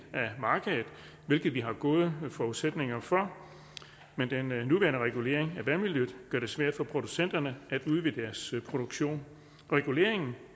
af markedet hvilket vi har gode forudsætninger for men den nuværende regulering af vandmiljøet gør det svært for producenterne at udvide deres produktion reguleringen